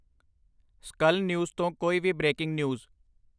ਸਕਲ ਨਿਊਜ਼ ਤੋਂ ਕੋਈ ਵੀ ਬ੍ਰੇਕਿੰਗ ਨਿਊਜ਼